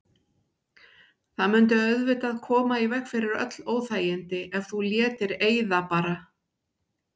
Það mundi auðvitað koma í veg fyrir öll óþægindi ef þú létir eyða bara.